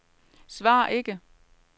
svar ikke